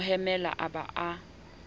mo hemela a ba a